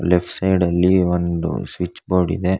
Left side ಅಲ್ಲಿ ಒಂದು switch board ಇದೆ.